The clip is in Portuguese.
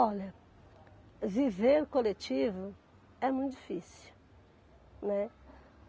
Olha, viver coletivo é muito difícil, né?